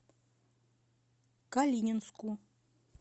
калининску